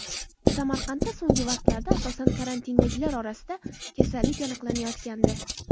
Samarqandda so‘nggi vaqtlarda, asosan, karantindagilar orasida kasallik aniqlanayotgandi.